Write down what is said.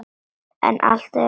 En hann er alltaf gamall.